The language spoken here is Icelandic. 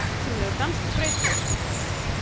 Dásamlegur danskur grautur!